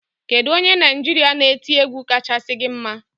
Kedu onye Naịjirịa na-eti egwu kacha gi mma?